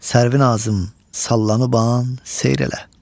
Sərvinazım sallanıban seyr elə.